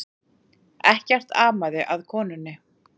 Ekkert amaði að konunni